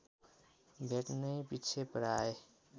भेट्नैपिच्छे प्राय